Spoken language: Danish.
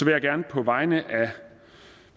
jeg gerne på vegne af